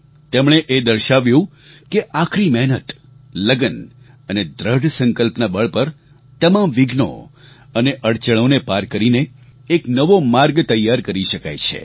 તેમણે એ દર્શાવ્યું કે આકરી મહેનત લગન અને દૃઢ સંકલ્પના બળ પર તમામ વિઘ્નો અને અડચણોને પાર કરીને એક નવો માર્ગ તૈયાર કરી શકાય છે